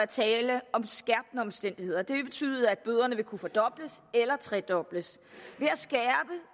tale om skærpende omstændigheder det vil betyde at bøderne vil kunne fordobles eller tredobles